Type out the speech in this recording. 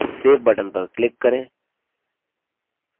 save button पर click करें